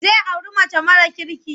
Zai auri mace mara kirki.